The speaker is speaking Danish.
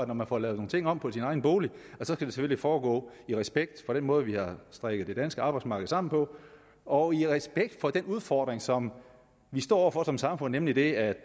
når man får lavet nogle ting om på sin egen bolig selvfølgelig skal foregå i respekt for den måde vi har strikket det danske arbejdsmarked sammen på og i respekt for den udfordring som vi står over for som samfund nemlig det at